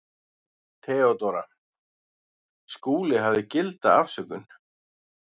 THEODÓRA: Skúli hafði gilda afsökun.